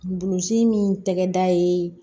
Bulusi min tɛgɛda ye